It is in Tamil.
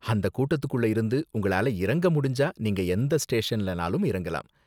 அந்த கூட்டத்துக்குள்ள இருந்து உங்களால இறங்க முடிஞ்சா நீங்க எந்த ஸ்டேஷன்லனாலும் இறங்கிக்கலாம்.